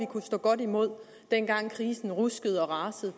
kunne stå godt imod dengang krisen ruskede og rasede